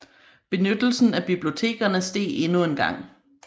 Benyttelsen af bibliotekerne steg endnu en gang